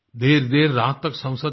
देरदेर रात तक संसद चली